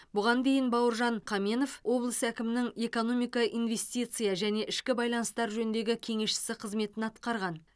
бұған дейін бауыржан қаменов облыс әкімінің экономика инвестиция және ішкі байланыстар жөніндегі кеңесшісі қызметін атқарған